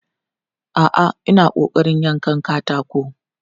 A'a, ina ƙoƙarin yankan katako.